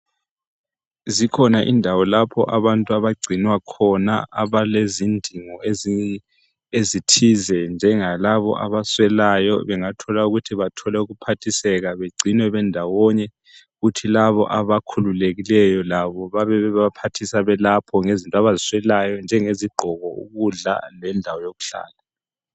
Zikhona indawo lapho abantu abagcinwa khona abalezindingo ezithize njengalabo abaswelayo bengathola ukuthi bathole ukuphathiseka begcinwe bendawonye kuthi labo abakhululekileyo labo bebe bebaphathisa lapho ngezinto abaziswelayo ezinjenge zigqoko ukudla lendawo yokuhlala.